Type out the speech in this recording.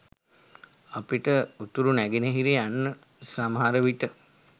අපිට උතුරු නැගෙනහිර යන්න සමහරවිට